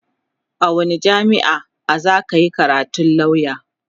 a wani jamia'a zaka Yi karatun lauya?